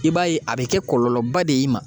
I b'a ye a be kɛ kɔlɔlɔba de ye i ma